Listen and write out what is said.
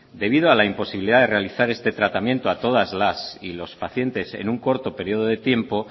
debido a la imposibilidad de realizar este tratamiento a todas las y los pacientes en un corto periodo de tiempo